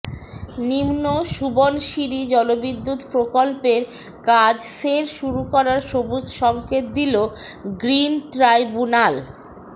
নিম্ন সুবনশিরি জলবিদ্যুৎ প্ৰকল্পের কাজ ফের শুরু করার সবুজ সঙ্কেত দিল গ্ৰিন ট্ৰাইব্যুনাল